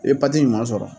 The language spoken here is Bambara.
I ye sɔrɔ